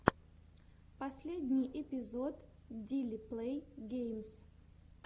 последний эпизод дили плэй геймс